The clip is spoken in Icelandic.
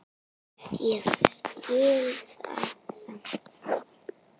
Ég skil það samt alveg.